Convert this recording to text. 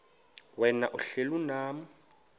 wena uhlel unam